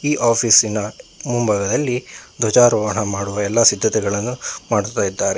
ಈ ಆಫೀಸಿನ ಮುಂಭಾಗದಲ್ಲಿ ಧ್ವಜಾರೋಹಣ ಮಾಡುವ ಎಲ್ಲಾ ಸಿದ್ಧತೆಗಳನ್ನು ಮಾಡುತ್ತಾ ಇದ್ದಾರೆ.